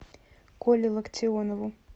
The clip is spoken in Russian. коле локтионову